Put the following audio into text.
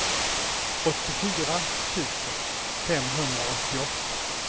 åttiofyra tusen femhundraåttioåtta